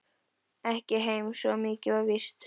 Ekki heim, svo mikið var víst.